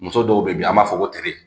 Muso dɔw be yen bi an b'a fɔ ko tere